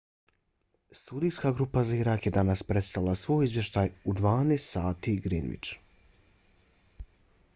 studijska grupa za irak je danas predstavila svoj izvještaj u 12.00 gmt